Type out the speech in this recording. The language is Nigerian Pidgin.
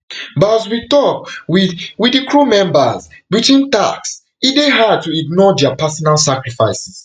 but as we tok wit wit di crew members between tasks e dey hard to ignore dia personal sacrifices